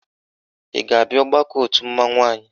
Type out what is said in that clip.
Ị ga-abịa ọgbakọ òtù mmanwụ anyị?